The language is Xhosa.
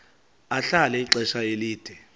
ahlala ixesha elide